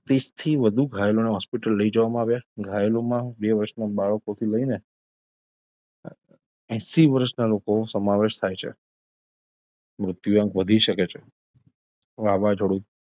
ત્રીશથી વધુ ઘાયલોને hospital લઇ જવામાં આવ્યાં ઘાયલોમાં બે વર્ષના બાળકોથી લઈને એશી વર્ષના લોકોનો સમાવેશ થાય છે મૃત્યુઆંક વધી શકે છે વાવાઝોડું,